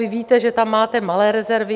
Vy víte, že tam máte malé rezervy.